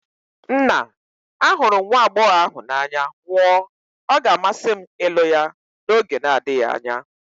Nna, ahụrụ m nwa agbọghọ ahụ n'anya nwụọ, ọ ga-amasị m ịlụ ya n'oge na-adịghị anya.